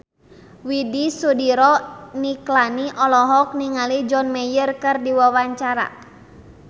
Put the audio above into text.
Widy Soediro Nichlany olohok ningali John Mayer keur diwawancara